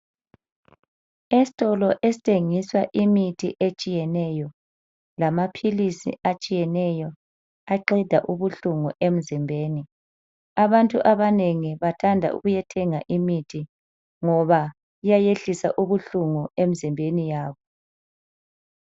Esitolo esithengisa imithi etshiyeneyo lamaphilisi atshiyeneyo aqeda ubuhlungu emzimbeni, abantu abanengi bathanda ukuyathenga imithi ngoba iyayehlisa ubuhlungu emzimbeni yabo.